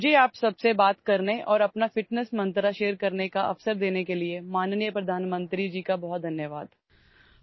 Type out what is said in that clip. मला तुम्हा सर्वांशी बोलण्याची आणि माझा आरोग्याचा मंत्र सांगण्याची संधी दिल्याबद्दल माननीय पंतप्रधानांचे खूप खूप आभार